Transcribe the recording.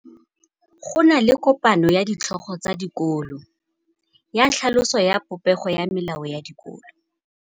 Go na le kopanô ya ditlhogo tsa dikolo ya tlhaloso ya popêgô ya melao ya dikolo.